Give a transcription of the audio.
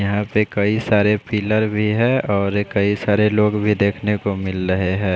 यहाँ पर कई सारे पिलर भी है और ऐ कई सारे लोग देखने को मिल रहे है।